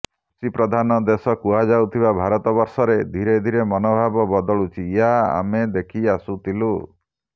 କୃଷିପ୍ରଧାନ ଦେଶ କୁହାଯାଉଥିବା ଭାରତବର୍ଷରେ ଧୀରେଧୀରେ ମନୋଭାବ ବଦଳୁଛି ଏହା ଆମେ ଦେଖିଆସୁଥିଲୁ